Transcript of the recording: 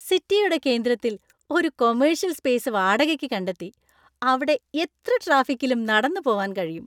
സിറ്റിയുടെ കേന്ദ്രത്തില്‍ ഒരു കൊമ്മേർഷ്യൽ സ്‌പേസ് വാടകയ്‌ക്ക് കണ്ടെത്തി, അവിടെ എത്ര ട്രാഫിക്കിലും നടന്നു പോവാന്‍ കഴിയും.